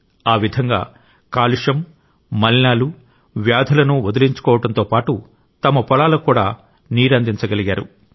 ఆ విధంగా కాలుష్యం మలినాలు వ్యాధులను వదిలించుకోవడంతో పాటు తమ పొలాలకు కూడా నీరందించగలిగారు